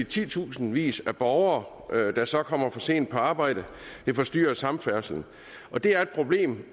titusindvis af borgere der så kommer for sent på arbejde det forstyrrer samfærdselen og det er et problem